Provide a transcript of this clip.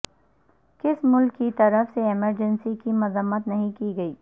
کس ملک کی طرف سے ایمرجنسی کی مذمت نہیں کی گئی